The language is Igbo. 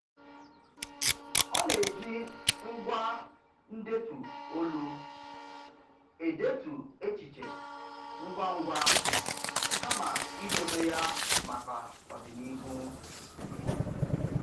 Ọ na-eji ngwá ndetu olu edetu echiche ngwangwa kama idobe ya maka ọdịnihu.